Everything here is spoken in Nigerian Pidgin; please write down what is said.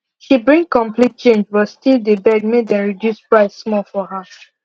she bring complete change but still deh beg make dem reduce price small for her